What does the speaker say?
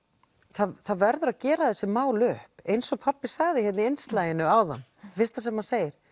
það það verður að gera þessi mál upp eins og pabbi sagði hérna í innslaginu áðan fyrsta sem hann segir